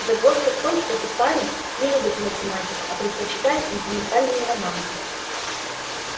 загвоздка в том что этот парень не любит математику а предпочитает сентиментальные романы